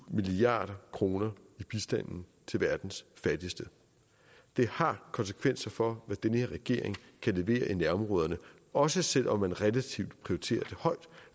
milliard kroner i bistanden til verdens fattigste det har konsekvenser for hvad den her regering kan levere i nærområderne også selv om man relativt prioriterer